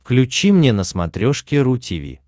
включи мне на смотрешке ру ти ви